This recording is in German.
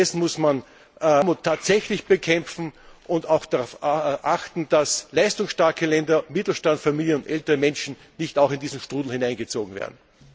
Stattdessen muss man Armut tatsächlich bekämpfen und darauf achten, dass leistungsstarke Länder, Mittelstandsfamilien und ältere Menschen nicht auch in diesen Strudel hineingezogen werden.